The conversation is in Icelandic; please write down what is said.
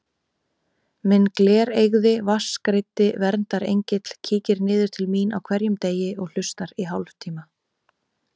Minn glereygði vatnsgreiddi verndarengill kíkir niður til mín á hverjum degi og hlustar í hálftíma.